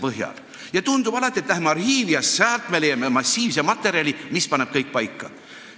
Võib tunduda, et lähme arhiivi, küllap leiame säält massiivse materjali, mis paneb kõik paika.